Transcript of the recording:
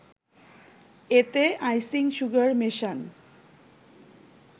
এতে icing sugar মেশান